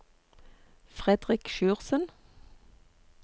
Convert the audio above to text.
Fredrik Sjursen